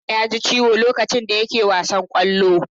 Haruna yaji Ciwo lokacin da yake wasan Kwallo.